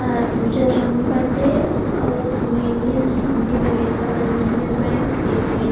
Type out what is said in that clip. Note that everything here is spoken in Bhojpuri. आ उजर रंग मे बाटे। अ उ में इंगलिश हिंदी में लिखल बा यूनियन बैंक ए.टी.एम ।